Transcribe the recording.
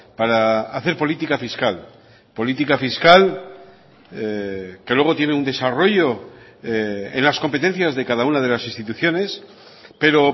para hacer política fiscal política fiscal que luego tiene un desarrollo en las competencias de cada una de las instituciones pero